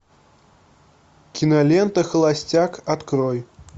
кинолента холостяк открой